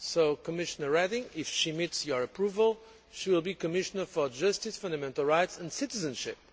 So, Commissioner Reding, if she meets with your approval, will be Commissioner for justice, fundamental rights and citizenship.